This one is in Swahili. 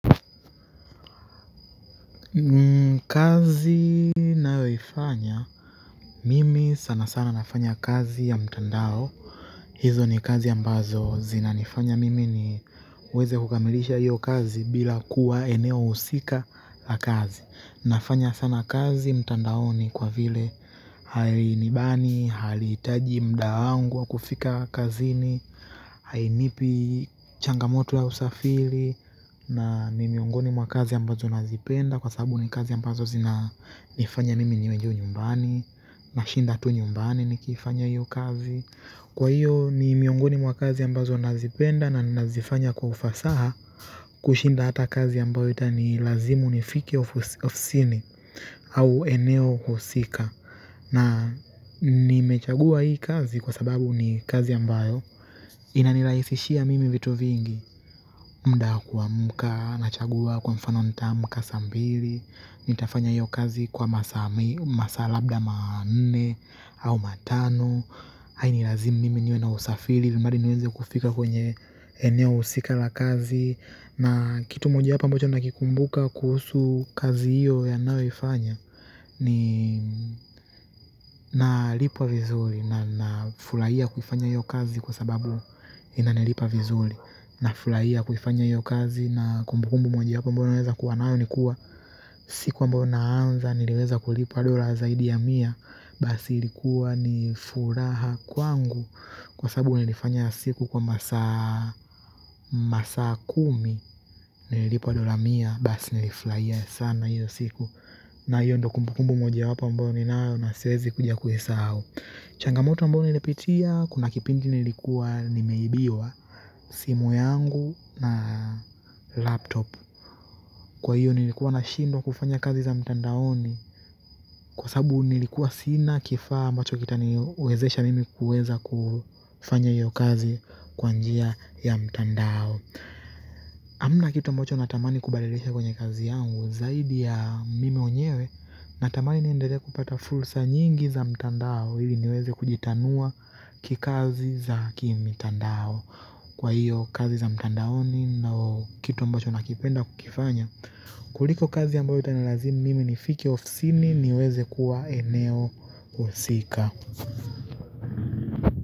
Kazi nayoifanya mimi sana sana nafanya kazi ya mtandao hizo ni kazi ambazo zinanifanya mimi niweze kukamilisha hiyo kazi bila kuwa eneo husika la kazi nafanya sana kazi mtandaoni kwa vile hali nibani, haliitaji muda wangu wa kufika kazini. Hainipi changamoto ya usafiri na ni miongoni mwa kazi ambazo nazipenda kwa sababu ni kazi ambazo zinanifanya mimi nienjoy nyumbani. Nashinda tu nyumbani nikifanya hiyo kazi kwa hiyo ni miongoni mwa kazi ambazo nazipenda na nazifanya kwa ufasaha kushinda hata kazi ambayo itani lazimu nifike ofisini au eneo husika na nimechagua hii kazi kwa sababu ni kazi ambayo inanirahisishia mimi vitu vingi muda wa kuamka nachagua kwa mfano nitaamka saa mbili nitafanya hiyo kazi kwa masaa labda manne au matano. Hainilazimu mimi niwe na usafiri bali niweze kufika kwenye eneo husika la kazi na kitu moja wapo ambocha nakikumbuka kuhusu kazi hiyo ya ninayoifanya ni nalipwa vizuri na nafuraia kufanya hiyo kazi kwa sababu inanilipa vizuri. Nafuraia kufanya hiyo kazi na kumbukumbu moja wapo ambayo naweza kuwa nao ni kuwa siku ambao naanza niliweza kulipwa dola zaidi ya mia basi ilikuwa ni furaha kwangu kwa sababu nilifanya siku kwa masaa kumi. Nililipwa dola mia basi nilifurahia sana hiyo siku na hiyo ndo kumbukumbu moja wapo ambao ninao nasiwezi kuja kuisahau changamoto ambao nilipitia kuna kipindi nilikuwa nimeibiwa simu yangu na laptop kwa hiyo nilikuwa nashindwa kufanya kazi za mtandaoni kwa sababu nilikuwa sina kifaa ambacho kitaniwezesha mimi kuweza kufanya hiyo kazi kwa njia ya mtandao hamna kitu ambacho natamani kubadilisha kwenye kazi yangu zaidi ya mimi mwenyewe natamani niendele kupata fursa nyingi za mtandao ili niweze kujitanua kikazi za kimitandao kwa hiyo kazi za mtandaoni na kitu ambacho nakipenda kukifanya kuliko kazi ylambayo itanalazimu mimi nifike ofisini niweze kuwa eneo husika.